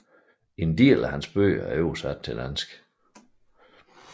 En del af hans bøger er oversat til dansk